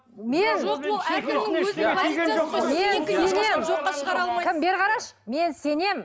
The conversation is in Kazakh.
мен кім бері қарашы мен сенемін